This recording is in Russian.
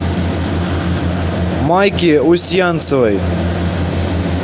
майки устьянцевой